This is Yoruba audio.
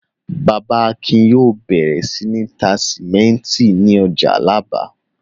Bàbá Akin yóò bẹ̀rẹ̀ sí ní tá sìmẹ́ńtì ní ọjà Alábà.